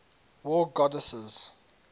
war goddesses